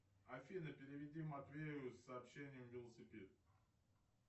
афина переведи матвею с сообщением велосипед